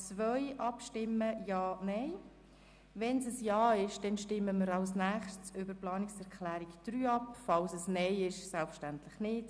Resultiert ein Ja, stimmen wir danach über die Planungserklärung 3 ab, falls ein Nein resultiert, selbstverständlich nicht.